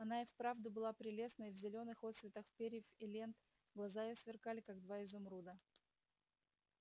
она и вправду была прелестна и в зелёных отсветах перьев и лент глаза её сверкали как два изумруда